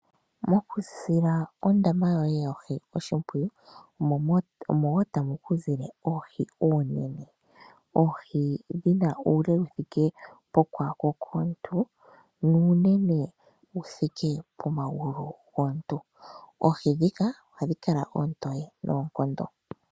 Mokusila ondama yoye yoohi oshimpwiyu, omo wo tamu ku zile oohi oonene. Oohi dhina uule wu thike pokwaako komuntu, nuunene wuthike pomagulu gomuntu. Oohi dhika, ohadhi kala oontoye noonkondo.